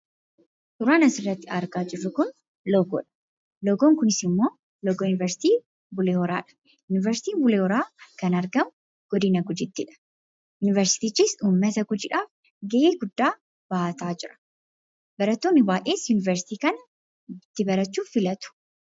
Suuraan asirratti argaa jirru kun, loogoodha . Loogoon kunisimmoo loogoo yuuniversiitii Bulee Horaadha. Yuuniversiitiin Bulee Horaa kan argamu godina Gujiittiidha. Yuuniversiitichis uumata gujiidhaaf gahee guddaa bahataa jira. Barattoonni baayyees yuuniversiitii kana itti barachuu filatu.